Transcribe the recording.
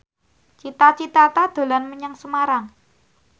Cita Citata dolan menyang Semarang